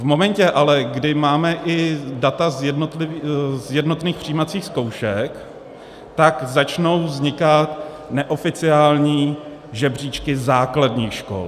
V momentě ale, kdy máme i data z jednotných přijímacích zkoušek, tak začnou vznikat neoficiální žebříčky základních škol.